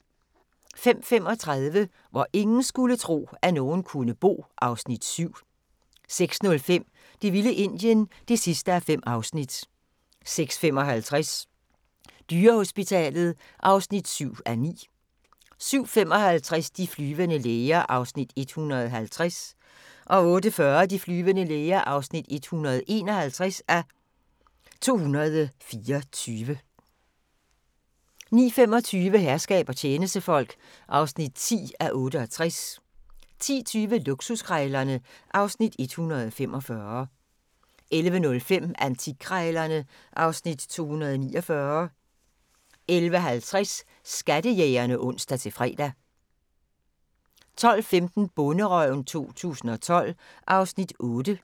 05:35: Hvor ingen skulle tro, at nogen kunne bo (Afs. 7) 06:05: Det vilde Indien (5:5) 06:55: Dyrehospitalet (7:9) 07:55: De flyvende læger (150:224) 08:40: De flyvende læger (151:224) 09:25: Herskab og tjenestefolk (10:68) 10:20: Luksuskrejlerne (Afs. 145) 11:05: Antikkrejlerne (Afs. 249) 11:50: Skattejægerne (ons-fre) 12:15: Bonderøven 2012 (Afs. 8)